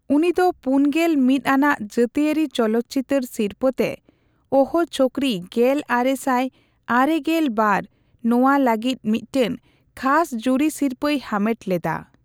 ᱩᱱᱤ ᱫᱚ ᱯᱩᱱᱜᱮᱞ ᱢᱤᱛ ᱟᱱᱟᱜ ᱡᱟᱹᱛᱤᱭᱟᱹᱨᱤ ᱪᱚᱞᱚᱛ ᱪᱤᱛᱟᱹᱨ ᱥᱤᱨᱯᱟᱹᱛᱮ ᱳᱦ ᱪᱷᱳᱠᱨᱤ ᱜᱮᱞ ᱟᱨᱮᱥᱟᱭ ᱟᱨᱮᱜᱮᱞ ᱵᱟᱨ ᱱᱚᱣᱟ ᱞᱟᱹᱜᱤᱫ ᱢᱤᱫᱴᱟᱝ ᱠᱷᱟᱥ ᱡᱩᱨᱤ ᱥᱤᱨᱯᱟᱹᱭ ᱦᱟᱢᱮᱴᱞᱮᱫᱟ ᱾